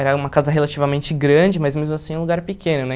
Era uma casa relativamente grande, mas mesmo assim um lugar pequeno, né?